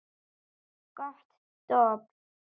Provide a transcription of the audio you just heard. Gott dobl.